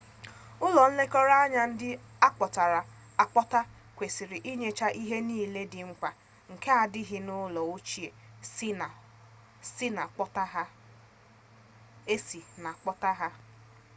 ulo nlekọta anya ndi akpotara-akpota kwesiri inyecha ihe nile di mkpa nke na adighi n'ulo ochie esi na kpota ha